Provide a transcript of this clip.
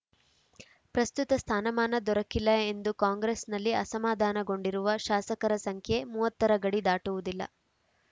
ಪ್ರಸ್ತುತ ಸ್ಥಾನಮಾನ ದೊರಕಿಲ್ಲ ಎಂದು ಕಾಂಗ್ರೆಸ್‌ನಲ್ಲಿ ಅಸಮಾಧಾನಗೊಂಡಿರುವ ಶಾಸಕರ ಸಂಖ್ಯೆ ಮೂವತ್ತ ರ ಗಡಿ ದಾಟುವುದಿಲ್ಲ